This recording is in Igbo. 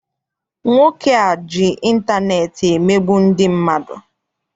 Nwoke a ji intaneeti emegbu ndị mmadụ.